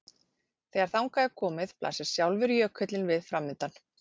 Þegar þangað er komið blasir sjálfur jökullinn við framundan.